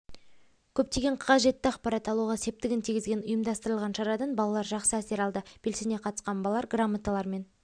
көптеген қажетті ақпарат алуға септігін тигізген ұйымдастырылған шарадан балалар жақсы әсер алды белсене қатысқан балалар грамоталармен